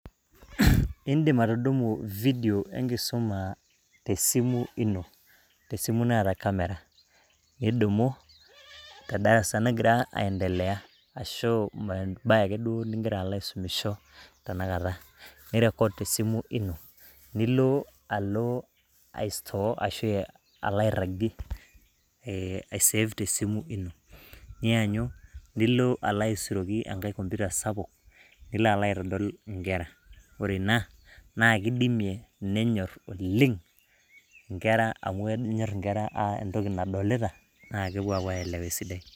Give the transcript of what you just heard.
Indim atudumu video enkisum te esimu ino, tesimu naata camera .Nidumu te darasa nagira aendelea ashu embae akeduo ningira alo aisumisho tenakata. Ni record te esimu ino , nilo alo ae store ashu airagie ,e ai save te esimu ino. Nianyu nilo alo aisuroki enkae computer sapuk nilo aitodol inkera. Ore ina naa kidimie , nenyor oleng , amu kenyor inkera entoki nadolita naa kepuo apuo aelewa esidai.